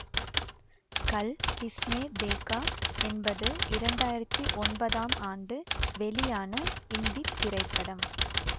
கல் கிஸ்னே தேகா என்பது இரண்டாயிரத்தி ஒன்பதாம் ஆண்டு வெளியான இந்தி திரைப்படம்